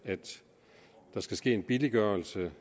at der skal ske en billiggørelse